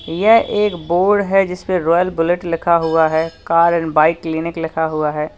यह एक बोर्ड है जिसपे रायल बुलेट लिखा हुआ है कार एंड बाइक क्लिनिक लिखा हुआ है।